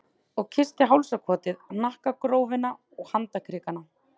Og kyssti hálsakotið, hnakkagrófina, handarkrikana.